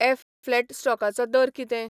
ऍफ.फ्लॅट स्टॉकाचो दर कितें?